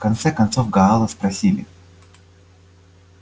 в конце концов гаала спросили